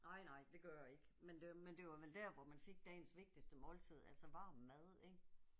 Nej nej det gør det ikke. Men det men det var vel der hvor man fik dagens vigtigste måltid altså varm mad ik